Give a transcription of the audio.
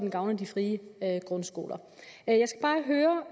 gavner de frie grundskoler